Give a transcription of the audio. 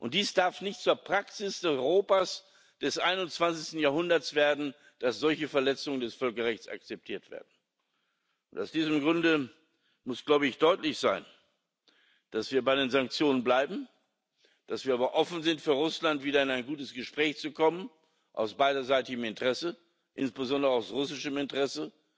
Und es darf nicht zur Praxis des Europas des 21. Jahrhunderts werden, dass solche Verletzungen des Völkerrechts akzeptiert werden. Aus diesem Grunde muss, glaube ich, deutlich sein, dass wir bei den Sanktionen bleiben, dass wir aber offen sind für Russland, wieder in ein gutes Gespräch zu kommen, aus beiderseitigem Interesse, insbesondere aus russischem Interesse,